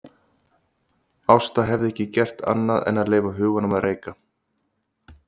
Ásta hafði ekki gert annað en að leyfa huganum að reika.